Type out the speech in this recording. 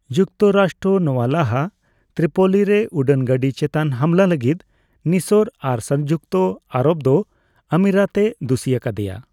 ᱡᱩᱠᱛᱚᱨᱟᱥᱴᱨᱚ ᱱᱚᱣᱟ ᱞᱟᱦᱟ ᱛᱨᱤᱯᱳᱞᱤ ᱨᱮ ᱩᱰᱟᱹᱱ ᱜᱟᱹᱰᱤ ᱪᱮᱛᱟᱱ ᱦᱟᱢᱞᱟ ᱞᱟᱹᱜᱤᱫ ᱢᱤᱥᱚᱨ ᱟᱨ ᱥᱚᱝᱡᱩᱠᱛᱚ ᱟᱨᱚᱵᱽ ᱫᱚ ᱟᱢᱤᱨᱟᱛ ᱮ ᱫᱩᱥᱤ ᱟᱠᱟᱫᱮᱭᱟ ᱾